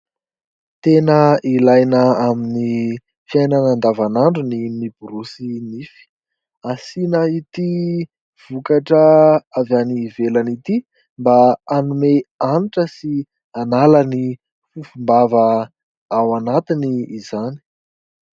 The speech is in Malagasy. Tena ilaina amin'ny fiainana andavan'andro ny miborosy nify. Asiana ity vokatra avy any ivelany ity mba hanome hanitra sy hanala ny fofom-bava ao anatiny izany.